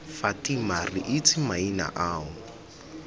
fatima re itse maina ao